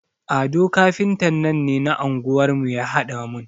Ado kafintan nan ne na anguwar mu ya haɗa mun.